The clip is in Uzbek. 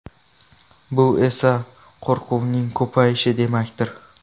Bu esa qo‘rquvning ko‘payishi demakdir.